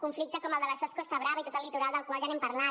conflicte com el de sos costa brava i tot el litoral del qual ja hem parlat